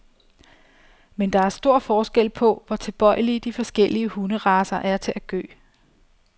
Men der er stor forskel på, hvor tilbøjelige de forskellige hunderacer er til at gø.